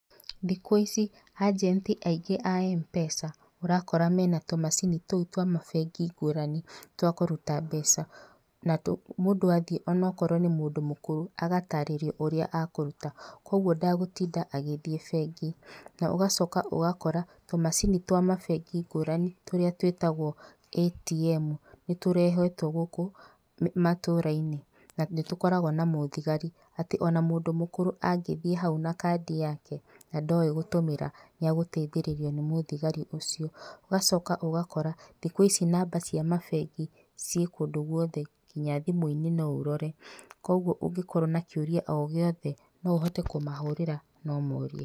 Thikũ ici, ĩjenti aingĩ a M-Pesa, ũrakora mena tũmacini tou twa mabengi ngũrani, twa kũruta mbeca, na mũndũ athiĩ o na okorwo nĩ mũndũ mũkũrũ agatarĩrio ũrĩa akũruta, koguo ndagũtinda agĩthiĩ bengi. Na ũgacoka ũgakora tũmacini twa mabengi ngũrani tũrĩa twĩtagwo ATM nĩ tũrehetwo gũkũ matũra-inĩ na nĩ tũkoragwo na mũthigari, atĩ o na mũndũ mũkũrũ angĩthiĩ hau na kandi yake na ndoĩ gũtũmĩra, nĩ agũteithĩrĩrio nĩ mũthigari ũcio, ũgacoka ũgakora thikũ ici namba cia mabengi, ciĩ kũndũ guothe nginya thimũ-inĩ no ũrore, koguo ũngĩkorwo na kĩũria o gĩothe, no ũhote kũmahũrĩra na ũmorie.